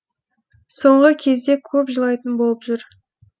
соңғы кезде көп жылайтын болып жүр